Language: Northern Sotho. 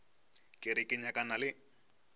ke re ke nyakana le